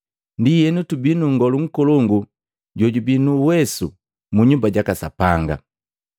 Ndienu tubii nu nngolu nkolongu jojubii nu uwesu mu nyumba jaka Sapanga.